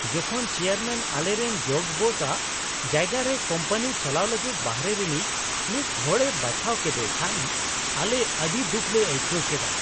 ᱡᱚᱠᱷᱚᱱ ᱪᱮᱭᱟᱨᱢᱮᱱ ᱟᱞᱮᱨᱮᱱ ᱡᱚᱜ ᱵᱚᱥᱼᱟᱜ ᱡᱟᱭᱜᱟ ᱨᱮ ᱠᱳᱢᱯᱟᱹᱱᱤ ᱪᱟᱞᱟᱣ ᱞᱟᱹᱜᱤᱫ ᱵᱟᱦᱨᱮ ᱨᱤᱱᱤᱡ ᱢᱤᱫ ᱦᱚᱲᱮ ᱵᱟᱪᱷᱟᱣ ᱠᱮᱫᱮ ᱠᱷᱟᱱ ᱟᱞᱮ ᱟᱹᱰᱤ ᱫᱩᱠᱷ ᱞᱮ ᱟᱹᱭᱠᱟᱹᱣ ᱠᱮᱫᱼᱟ ᱾